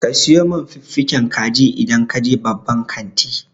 Ka sayo min fiffigen kaji idan ka je babban kanti.